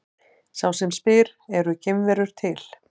Sá sem spyr Eru geimverur til?